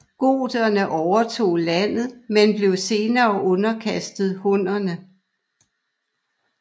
Goterne overtog landet men blev senere underkastet Hunnerne